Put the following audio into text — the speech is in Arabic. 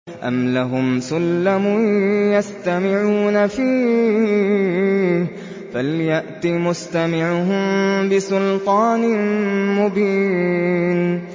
أَمْ لَهُمْ سُلَّمٌ يَسْتَمِعُونَ فِيهِ ۖ فَلْيَأْتِ مُسْتَمِعُهُم بِسُلْطَانٍ مُّبِينٍ